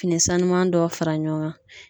Fini sanuman dɔ fara ɲɔgɔn kan.